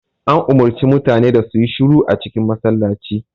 An umarci mutane da su yi shiru a cikin masallacin